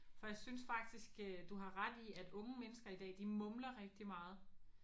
For jeg synes faktisk øh du har ret i at unge mennesker i dag de mumler rigtig meget